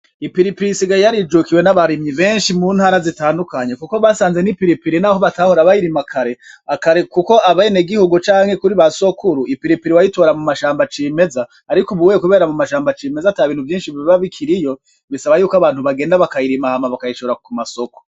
Ipiripiri isigaye yarijukiye nabarimyi benshi mu ntara zitandukanye kuko basanze ni piripiri naho batahora bayirima kare, kare kuko abene gihugu canke kuri ba sokuru ipiripiri wayitora mumashamba acimeza ariko ubu kubera atashamba acimeza akiriho bisaba yuko umuntu azirima akazitwara mu masoko.